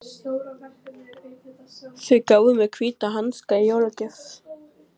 Þau gáfu mér hvíta hanska í jólagjöf.